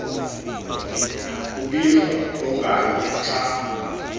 kubizwa okanye xa